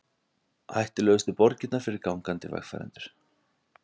Hættulegustu borgirnar fyrir gangandi vegfarendur